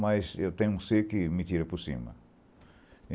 Mas eu tenho um ser que me tira por cima.